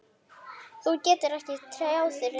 Þú getur ekki tjáð reiði.